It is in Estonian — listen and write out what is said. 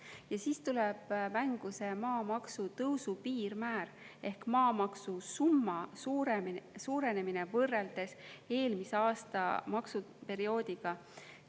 Ja siis tuleb mängu see maamaksu tõusu piirmäär ehk maamaksu summa suurenemine võrreldes eelmise aasta maksuperioodiga.